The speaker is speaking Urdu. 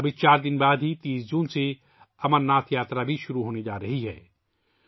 ابھی 4 دن بعد ہی 30 جون سے امرناتھ یاترا بھی شروع ہونے جا رہی ہے